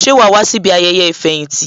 Ṣé wàá wá síbi ayẹyẹ ìfẹ̀yìntì ní?